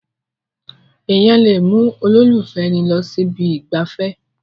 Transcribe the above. Èèyàn lè mú olólùfẹ́ ẹni lọ sí ibi ìgbafẹ́